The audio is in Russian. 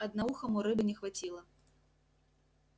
одноухому рыбы не хватило